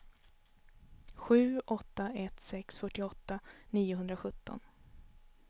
sju åtta ett sex fyrtioåtta niohundrasjutton